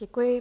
Děkuji.